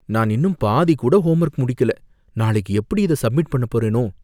நான் இன்னும் பாதி கூட ஹோம்வொர்க் முடிக்கல, நாளைக்கு எப்படி இத சப்மிட் பண்ணப் போறேனோ!